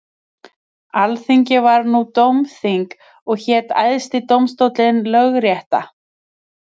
Alþingi var nú dómþing og hét æðsti dómstóllinn lögrétta.